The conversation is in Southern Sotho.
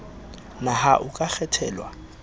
na ha o ka kgethelwa